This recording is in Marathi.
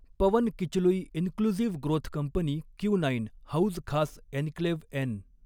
पवन किचलुई inclusive growth company Q nine Hauz Khas enclave N